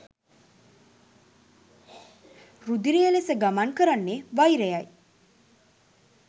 රුධිරය ලෙස ගමන් කරන්නේ වෛරයයි.